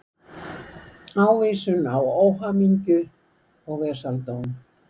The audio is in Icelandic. Ávísun á óhamingju og vesaldóm.